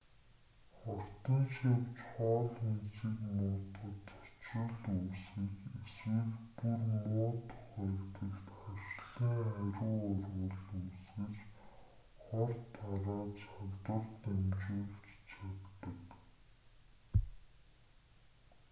хортон шавьж хоол хүнсийг муутгаж цочрол үүсгэж эсвэл бүр муу тохиолдолд харшлын хариу урвал үүсгэж хор тарааж халдвар дамжуулж чаддаг